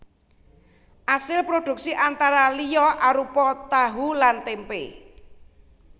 Asil prodhuksi antara liya arupa tahu lan témpé